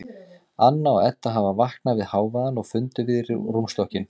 Anna og Edda hafa vaknað við hávaðann og funda við rúmstokkinn.